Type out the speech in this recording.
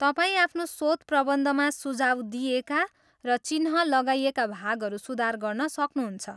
तपाईँ आफ्नो शोधप्रबन्धमा सुझाउ दिइएका र चिह्न लगाइएका भागहरू सुधार गर्न सक्नुहुन्छ।